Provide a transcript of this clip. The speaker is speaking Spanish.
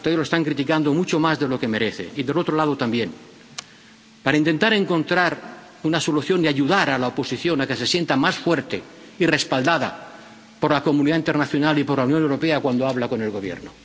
Ustedes lo están criticando mucho más de lo que merece, y del otro lado también, para intentar encontrar una solución y ayudar a la oposición a que se sienta más fuerte y respaldada por la comunidad internacional y por la Unión Europea cuando habla con el Gobierno.